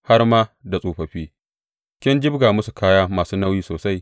Har ma da tsofaffi kin jibga musu kaya masu nauyi sosai.